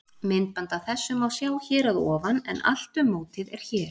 Myndband af þessu má sjá hér að ofan en Allt um mótið er hér.